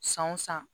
San o san